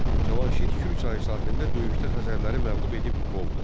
Cavanşir Kür çayı sahilində döyüşdə Xəzərləri məğlub edib qovdu.